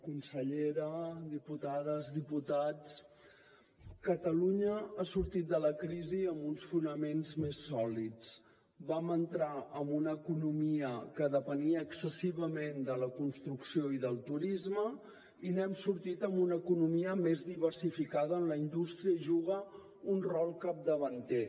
consellera diputades diputats catalunya ha sortit de la crisi amb uns fonaments més sòlids vam entrar amb una economia que depenia excessivament de la construcció i del turisme i n’hem sortit amb una economia més diversificada on la indústria juga un rol capdavanter